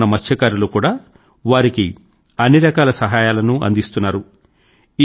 చుట్టుపక్కల ఉన్న మత్స్యకారులు కూడా వారికి అన్నిరకాల సహాయాలనూ అందిస్తున్నారు